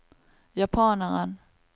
japaneren